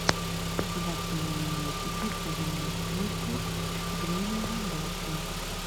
государственный университет по землеустройству время работы